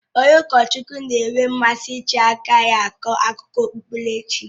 Onye ụkọchukwu na-enwe mmasị iji aka ya akọ akụkọ okpukperechi.